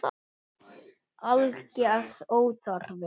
Alger óþarfi.